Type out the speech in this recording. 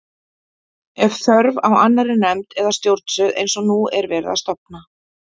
Er þörf á annarri nefnd eða stjórnstöð eins og nú er verið að stofna?